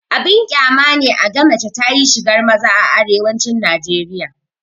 Abin ƙyama ne a ga mace ta yi shigar maza a arewacin najeriya